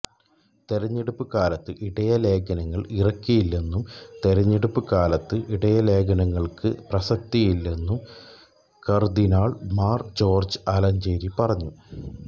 തെരഞ്ഞെടുപ്പ് കാലത്ത് ഇടയലേഖനങ്ങള് ഇറക്കില്ലെന്നും തെരഞ്ഞെടുപ്പ് കാലത്ത് ഇടയലേഖനങ്ങള്ക്ക് പ്രസക്തിയില്ലെന്നും കര്ദ്ദിനാള് മാര് ജോര്ജ് ആലഞ്ചേരി പറഞ്ഞു